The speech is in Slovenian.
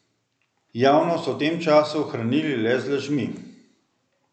Javnost so v tem času hranili le z lažmi.